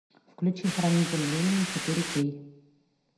включи хранитель времени четыре кей